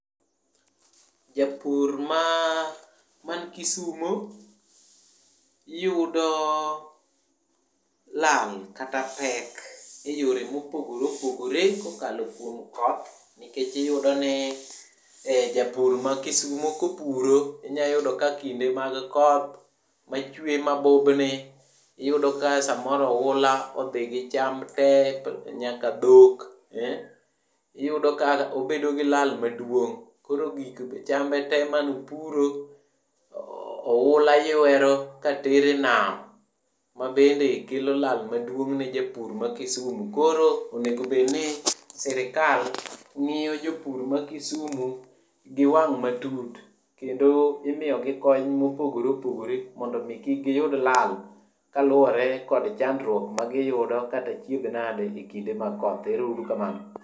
Japur man Kisumo yudo lal kata pek e yore mopogore opogore kokalo kuom koth, nikech iyudo ni japur makisumo kopuro, inyayudo ni kinde mag koth machwe mabubni iyudo ka samoro oula odhi gi cham te nyaka dhok eh. Iyudo ka obedo gi lal maduong', koro chambe te manopuro oula yuero katero e nam. Mabende kelo lal maduong' ne japur makisumu. Koro onego bed ni sirikal ng'iyo jopur makisumu gi wang' matut kendo imiyogi kony mopogore opogore mondo omi kik giyud lal kaluwore kod chandruok magiyudo kata achiedhnade e kinde mag koth. Ero uru kamano.